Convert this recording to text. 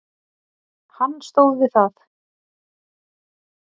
Hann stóð við það.